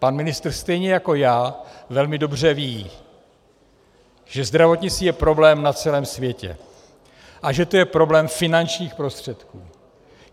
Pan ministr stejně jako já velmi dobře ví, že zdravotnictví je problém na celém světě a že to je problém finančních prostředků.